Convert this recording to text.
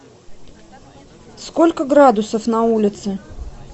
сколько градусов на улице